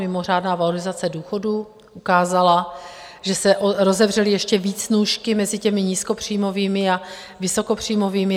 Mimořádná valorizace důchodů ukázala, že se rozevřely ještě víc nůžky mezi těmi nízkopříjmovými a vysokopříjmovými.